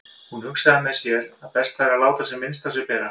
Hún hugsaði með sér að best væri að láta sem minnst á sér bera.